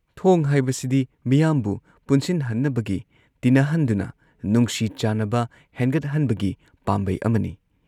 ꯊꯣꯡ ꯍꯥꯏꯕꯁꯤꯗꯤ ꯃꯤꯌꯥꯝꯕꯨ ꯄꯨꯟꯁꯤꯟꯍꯟꯅꯕꯒꯤ, ꯇꯤꯟꯅꯍꯟꯗꯨꯅ ꯅꯨꯡꯁꯤ ꯆꯥꯟꯅꯕ ꯍꯦꯟꯒꯠꯍꯟꯕꯒꯤ ꯄꯥꯝꯕꯩ ꯑꯃꯅꯤ ꯫